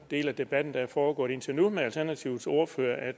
del af debatten der er foregået indtil nu med alternativets ordfører at